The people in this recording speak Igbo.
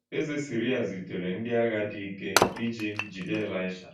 Eze Siria zitere ndị agha dị ike iji jide Elisha.